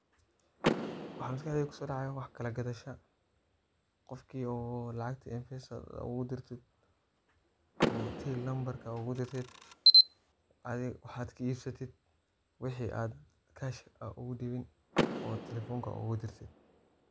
Waxa maskaxdeida kusodacayah wax kalagadhasha, qofki lacagta mpesa ogu dirtit, oo till nambarka ogu dirtit. adhi wax ad ka ibsatit wixi ad cash ad ogu dibin oo talefonka oga dirtit.